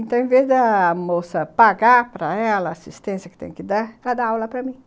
Então, ao invés da moça pagar para ela a assistência que tem que dar, ela dá aula para mim.